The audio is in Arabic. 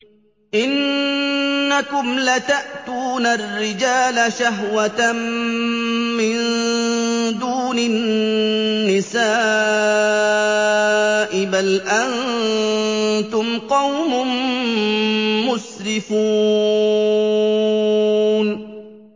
إِنَّكُمْ لَتَأْتُونَ الرِّجَالَ شَهْوَةً مِّن دُونِ النِّسَاءِ ۚ بَلْ أَنتُمْ قَوْمٌ مُّسْرِفُونَ